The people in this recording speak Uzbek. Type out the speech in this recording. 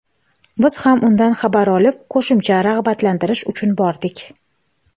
biz ham undan xabar olib qo‘shimcha rag‘batlantirish uchun bordik.